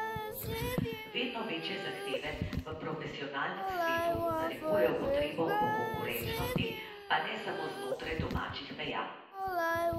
Vedno večje zahteve v profesionalnem svetu narekujejo potrebo po konkurenčnosti, pa ne samo znotraj domačih meja.